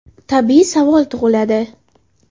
Tabiiy savol tug‘iladi.